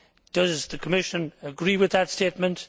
Does the Commission agree with that statement?